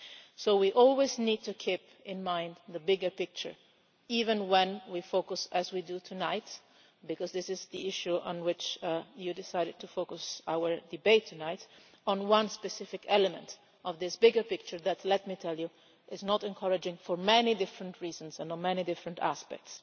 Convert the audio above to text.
So we always need to keep in mind the bigger picture, even when we focus as we do tonight, because this is the issue on which you decided to focus our debate tonight on one specific element of this bigger picture that is not encouraging for many different reasons and on many different aspects.